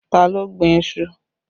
Ta ló gbin iṣu?